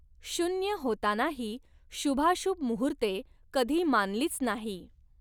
शुन्य होतानाही शुभाशुभ मुहुर्ते कधी मानलीच नाही